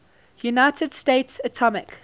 united states atomic